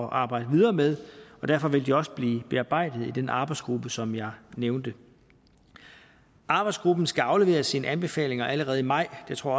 at arbejde videre med og derfor vil de også blive bearbejdet i den arbejdsgruppe som jeg nævnte arbejdsgruppen skal aflevere sine anbefalinger allerede i maj det tror